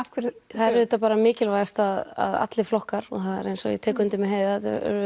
það er auðvitað bara mikilvægast að allir flokkar og það er eins og ég tek undir með Heiðu